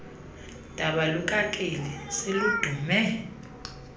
daba lukakeli seludume